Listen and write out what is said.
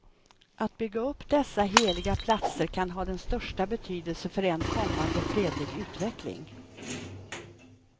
Att bygga upp dessa heliga platser kan ha den största betydelse för en kommande fredlig utveckling.